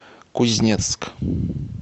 кузнецк